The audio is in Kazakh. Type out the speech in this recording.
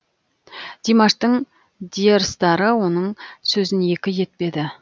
димаштың диэрстары оның сөзін екі етпеді